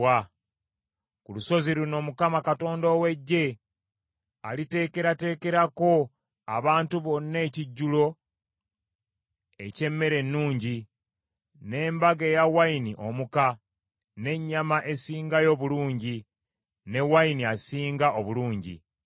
Ku lusozi luno Mukama Katonda ow’Eggye aliteekerateekerako abantu bonna ekijjulo eky’emmere ennungi, n’embaga eya wayini omuka n’ennyama esingayo obulungi, ne wayini asinga obulungi.